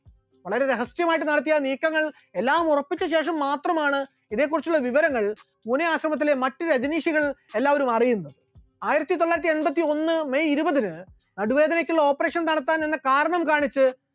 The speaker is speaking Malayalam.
വളരെ രഹസ്യമായിട്ട് നടത്തിയ നീക്കങ്ങൾ എല്ലാം ഉറപ്പിച്ച ശേഷം മാത്രമാണ് ഇതേ കുറിച്ചുള്ള വിവരങ്ങൾ പൂനെ ആശ്രമത്തിലെ മറ്റ് രജനീഷികൾ എല്ലാവരും അറിയുന്നത്, ആയിരത്തിത്തൊള്ളായിരത്തി എൺപത്തി ഒന്ന് may ഇരുപതിന് നടുവേദനക്കുള്ള operation നടത്താനുള്ള കാരണം കാണിച്ച്